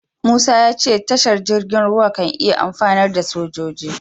Musa ya ce tashar jirgin ruwa kan iya amfanar da sojoji.